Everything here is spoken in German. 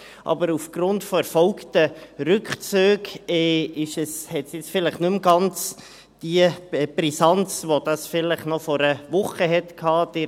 Aber aufgrund erfolgter Rückzüge hat es jetzt vielleicht nicht mehr die Brisanz, die es vielleicht vor einer Woche noch hatte.